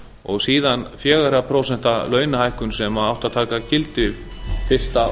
og síðan fjögurra prósenta launahækkun sem átti að taka gildi fyrsta